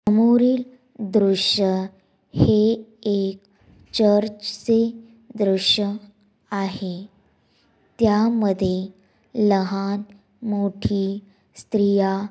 समोरील दृश्य हे एक चर्च चे दृश्य आहे. त्यामध्ये लहान मोठी स्त्रिया--